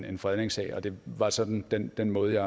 en fredningssag det var sådan den den måde